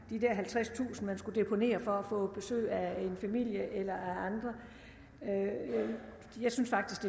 at man skulle deponere for at få besøg af familie eller andre jeg synes faktisk